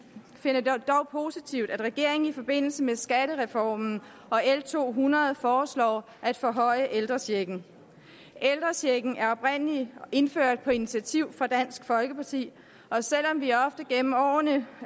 finder det dog positivt at regeringen i forbindelse med skattereformen og l to hundrede foreslår at forhøje ældrechecken ældrechecken er oprindelig indført på initiativ fra dansk folkeparti og selv om vi ofte gennem årene